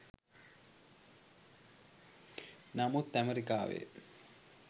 නමුත් ඇමරිකාවේ